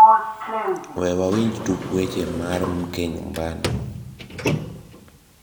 we wawinj tuk weche mar mke nyumbani